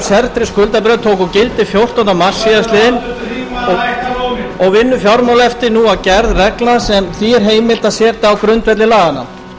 sértryggð skuldabréf tóku gildi fjórtánda mars síðastliðinn og vinnur fjármálaeftirlitið nú að gerð reglna sem því er heimilt að setja á grundvelli laganna